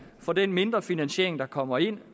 for den mindre finansiering der kommer ind